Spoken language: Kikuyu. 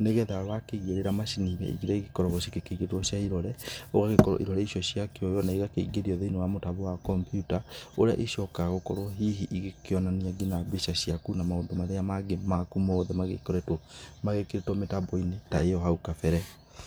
nĩgetha wakĩigĩrĩra macini-inĩ iria igĩkoragwo cia kũigĩrĩra cia irore, gũgagĩkorwo irore icio ciakĩoywo na ciaingĩrio thĩinĩ wa mũtambo wa kompyuta, ũrĩa ikoragwo hihi ikĩonania nginya mbica ciaku, na maũndũ marĩa mangĩ maku magĩkoretwo mekĩrĩtwo mĩtambo-inĩ ta ĩyo hau kabere.